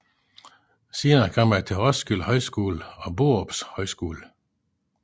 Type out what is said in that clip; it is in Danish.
Senere kom han til Roskilde Højskole og Borups Højskole